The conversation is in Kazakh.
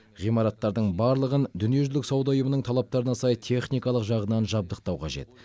ғимараттардың барлығын дүниежүзілік сауда ұйымының талаптарына сай техникалық жағынан жабдықтау қажет